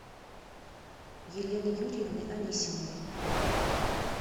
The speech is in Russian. елены юрьевны анисимовой